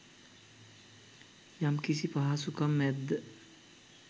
යම්කිසි පහසුකම් ඇද්ද